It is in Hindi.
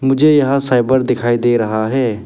मुझे यहां साइबर दिखाई दे रहा है।